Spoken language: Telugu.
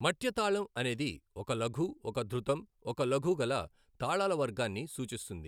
మట్య తాళం అనేది ఒక లఘు, ఒక ధృతం, ఒక లఘు గల తాళాల వర్గాన్ని సూచిస్తుంది.